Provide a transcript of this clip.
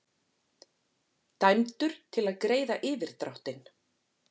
Dæmdur til að greiða yfirdráttinn